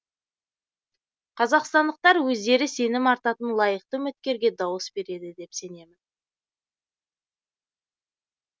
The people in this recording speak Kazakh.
қазақстандықтар өздері сенім артатын лайықты үміткерге дауыс береді деп сенемін